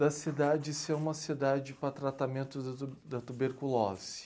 da cidade ser uma cidade para tratamentos da tuberculose.